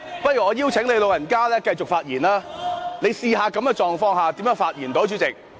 不如我邀請你"老人家"繼續發言，你試試看，在這種情況下如何能夠發言？